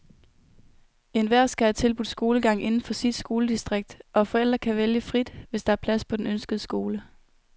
Enhver skal have tilbudt skolegang inden for sit skoledistrikt, og forældre kan vælge frit, hvis der er plads på den ønskede skole.